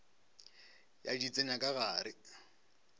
ya di tsenya ka gare